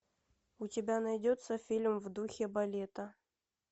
у тебя найдется фильм в духе балета